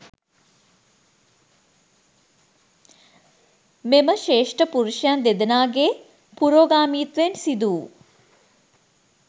මෙම ශ්‍රේෂ්ඨ පුරුෂයන් දෙදෙනාගේ පුරෝගාමිත්වයෙන් සිදුවූ